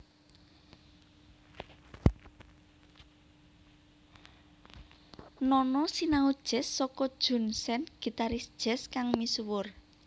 Nono sinau jazz saka Jun Sen gitaris jazz kang misuwur